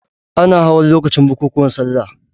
Ana hawan lokacin bukukuwan salla.